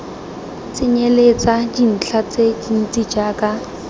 tsenyeletsa dintlha tse dintsi jaaka